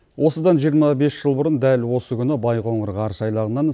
осыдан жиырма бес жыл бұрын дәл осы күні байқоңыр ғарыш айлағынан